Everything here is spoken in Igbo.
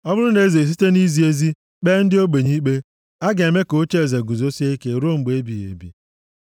Ọ bụrụ na eze esite nʼizi ezi kpee ndị ogbenye ikpe, a ga-eme ka ocheeze ya guzosie ike ruo mgbe ebighị ebi.